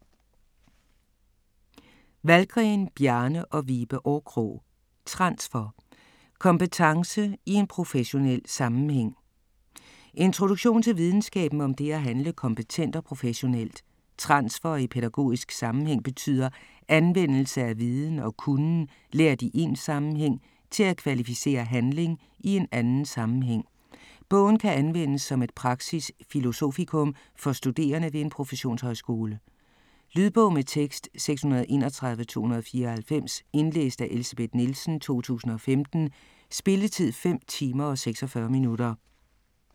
Wahlgren, Bjarne og Vibe Årkrog: Transfer: kompetence i en professionel sammenhæng Introduktion til videnskaben om det at handle kompetent og professionelt. Transfer i pædagogisk sammenhæng betyder "anvendelse af viden og kunnen lært i én sammenhæng til at kvalificere handling i en anden sammenhæng". Bogen kan anvendes som et praksis-filosofikum for studerende ved en proffesionshøjskole. Lydbog med tekst 631294 Indlæst af Elsebeth Nielsen, 2015. Spilletid: 5 timer, 46 minutter.